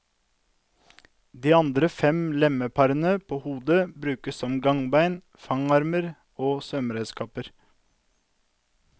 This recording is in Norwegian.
De andre fem lemmeparene på hodet brukes både som gangbein, fangarmer og svømmeredskaper.